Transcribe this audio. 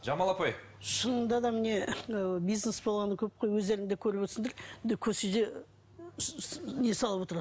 жамал апай шынында да міне мынау бизнес болғаны көп қой өздерің де көріп отырсыңдар көшеде не салып отырады